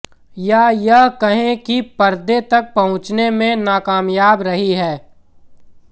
या यह कहें कि पर्दे तक पहुंचने में नाकामयाब रही है